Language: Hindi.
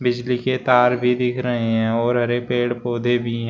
बिजली के तार भी दिख रहे है और हरे पेड़ पौधे भी--